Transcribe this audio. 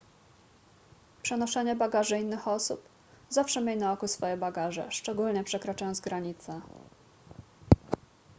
przenoszenie bagaży innych osób zawsze miej na oku swoje bagaże szczególnie przekraczając granice